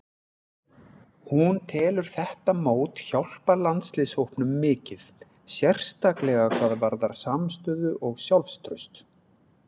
Hún telur þetta mót hjálpa landsliðshópnum mikið, sérstaklega hvað varðar samstöðu og sjálfstraust.